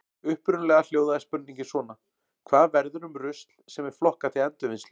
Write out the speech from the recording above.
Upprunalega hljóðaði spurningin svona: Hvað verður um rusl sem er flokkað til endurvinnslu?